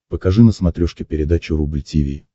покажи на смотрешке передачу рубль ти ви